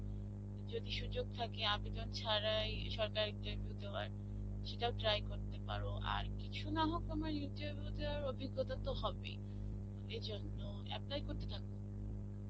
যদি সুযোগ থাকে আবেদন ছাড়াই সরকারী interview দেবার সেটাও try করতে পারো. আর কিছু নাহোক তোমার interview দেবার অভিজ্ঞ্যতা তো হবেই. এই জন্যে apply করতে থাকো.